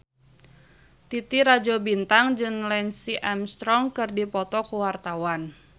Titi Rajo Bintang jeung Lance Armstrong keur dipoto ku wartawan